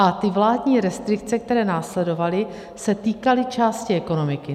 A ty vládní restrikce, které následovaly, se týkaly části ekonomiky.